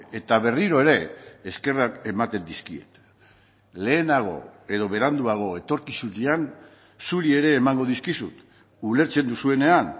eta berriro ere eskerrak ematen dizkiet lehenago edo beranduago etorkizunean zuri ere emango dizkizut ulertzen duzuenean